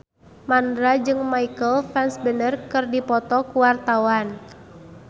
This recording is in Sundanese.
Mandra jeung Michael Fassbender keur dipoto ku wartawan